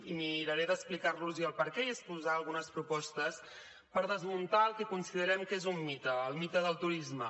i miraré d’explicar los el perquè i exposar algunes propostes per desmuntar el que considerem que és un mite el mite del turisme